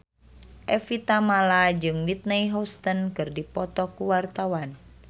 Evie Tamala jeung Whitney Houston keur dipoto ku wartawan